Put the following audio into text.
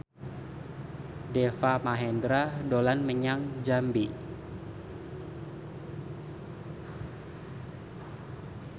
Deva Mahendra dolan menyang Jambi